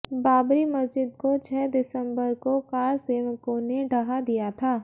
बाबरी मस्जिद को छह दिसंबर को कारसेवकों ने ढहा दिया था